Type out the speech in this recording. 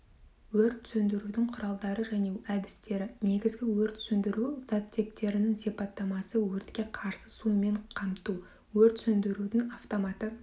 өрт сөндірудің құралдары және әдістері негізгі өрт сөндіру заттектерінің сипаттамасы өртке қарсы сумен қамту өрт сөндірудің автоматы